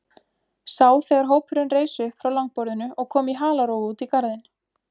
Sá þegar hópurinn reis upp frá langborðinu og kom í halarófu út í garðinn.